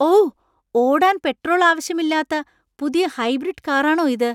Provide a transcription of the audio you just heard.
ഓ! ഓടാൻ പെട്രോൾ ആവശ്യമില്ലാത്ത പുതിയ ഹൈബ്രിഡ് കാറാണോ ഇത്?